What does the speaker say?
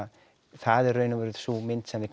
það er í raun og veru sú mynd sem við